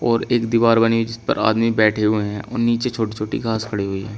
और एक दीवार बनी जिस पर आदमी बैठे हुए हैं और नीचे छोटी छोटी खास खड़ी हुई है।